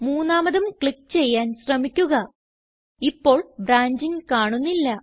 മൂന്നാമതും ക്ലിക്ക് ചെയ്യാൻ ശ്രമിക്കുക ഇപ്പോൾ ബ്രാഞ്ചിംഗ് കാണുന്നില്ല